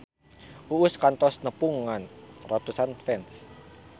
Uus kantos nepungan ratusan fans